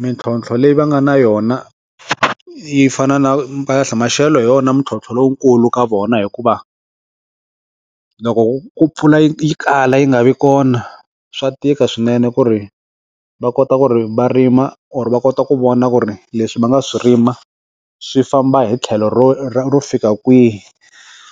Mintlhotlho leyi va nga na yona yi fana na maxelo hi wona mintlhontlho lowukulu ka vona hikuva loko ku ku pfula yi kala yi nga vi kona swa tika swinene ku ri va kota ku ri va rima or va kota ku vona ku ri leswi va nga swi rima swi famba hi tlhelo ro ro fika kwihi